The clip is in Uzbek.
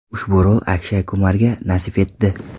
Ushbu rol Akshay Kumarga nasib etdi.